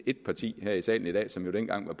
ét parti her i salen i dag som jo dengang var